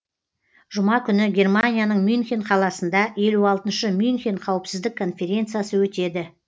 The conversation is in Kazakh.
жұма күні германияның мюнхен қаласында елу алтыншы мюнхен қауіпсіздік конференциясы өтеді